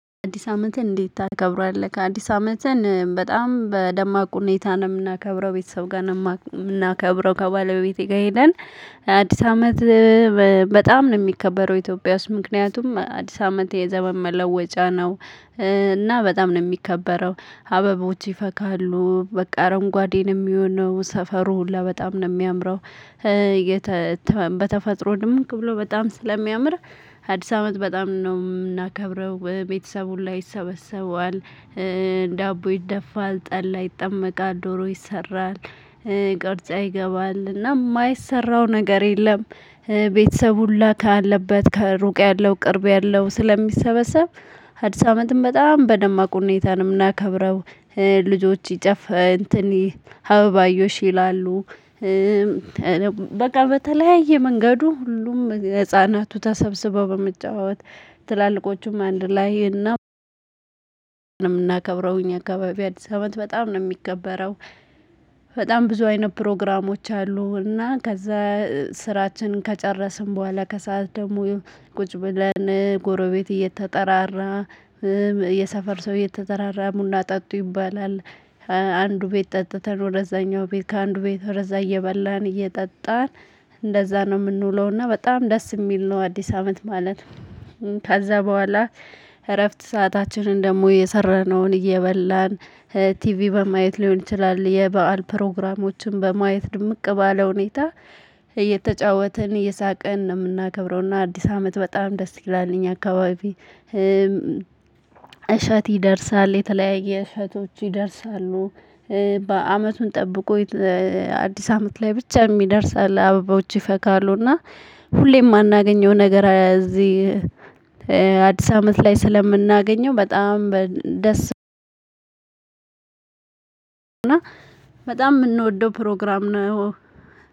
አዲስ አመትን እንዴት ታከብሯለህ? አዲስ አመትን በጣም በደማቁ እኔታ ነው የምናከብረው ቤተሰብ ጋር። ነው ከባለቤቴ ጋር ሄደን አዲስ አመት በጣም ነው የሚከበረው ኢትዮጵያ ውስጥ ምክንያቱም አዲስ አመት የዘመን መለወጫ ነው። እና በጣም ነው የሚከበረው አበቦች ይፈካሉ በቃ አረንጓዴንም የሚሆነው ሰፈሩ ሁላ በጣም ነው የሚያምረው። በተፈጥሮ ድምቅ ብሎ በጣም ስለሚያምር አዲስ አመት በጣም ነው የምናከብረው ቤተሰብ ሁላ ይሰበሰበዋል። ዳቦ ይደፋል ጠላ ይጠመቃል ዶሮ ይሰራል ቅርጫ ይገባል እና የማይሰራው ነገር የለም። ቤተሰብ ሁላ ካለበት ከሩቅ ያለው ቅርብ ያለው ስለሚሰበሰብ አዲስ አመትም በጣም በደማቁ እኔታ ነው እናከብረው። ልጆች ይጨፍ እንትን ይሄ አበባ አየሽ ይላሉ። በቃ በተለያየ መንገዱ ሁሉም ህፃናቱ ተሰብስበው በመጫወት ትላልቆቹም አንድ ላይ እና። ምናከብረው እኛ አካባቢ አዲስ አመት በጣም ነው የሚከበረው። በጣም ብዙ አይነት ፕሮግራሞች አሉ እና ከዛ። ስራችን ከጨረስን በኋላ ከሰአት ደግሞ ቁጭ ብለን ጎረቤት እየተጠራራ የሰፈር ሰው እየተጠራራ ቡና ጠጡ ይባላል። አንዱ ቤት ጠጥተን ወደዛኛው ቤት ከአንዱ ቤት ወደዛ እየበላን እየጠጣን እንደዛ ነው የምንውለውና እና በጣም ደስ የሚል ነው። አዲስ አመት ማለት። ከዛ በኋላ እረፍት ሰአታችንን ደግሞ የሰራነውን እየበላን ቲቪ በማየት ሊሆን ይችላል። የበአል ፕሮግራሞችን በማየት ድምቅ ባለ ሁኔታ። እየተጫወትን እየሳቀን ነው የምናከብረውና አዲስ አመት በጣም ደስ ይላል እኛ አካባቢ። እሸት ይደርሳል የተለያየ እሸቶች ይደርሳሉ። በአመቱን ጠብቆ አዲስ አመት ላይ ብቻ የሚደርስ አለ አበባዎች ይፈካሉ እና ሁሌ የማናገኘው ነገር እዚህ። አዲስ አመት ላይ ስለምናገኘው በጣም በደስ። እና በጣም የምንወደው ፕሮግራም ነው የሆነ